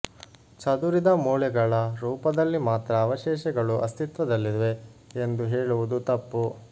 ಚದುರಿದ ಮೂಳೆಗಳ ರೂಪದಲ್ಲಿ ಮಾತ್ರ ಅವಶೇಷಗಳು ಅಸ್ತಿತ್ವದಲ್ಲಿವೆ ಎಂದು ಹೇಳುವುದು ತಪ್ಪು